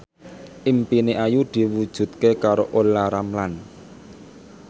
impine Ayu diwujudke karo Olla Ramlan